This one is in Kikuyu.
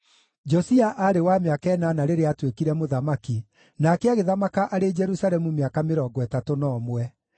Josia aarĩ wa mĩaka ĩnana rĩrĩa aatuĩkire mũthamaki, nake agĩthamaka arĩ Jerusalemu mĩaka mĩrongo ĩtatũ na ũmwe.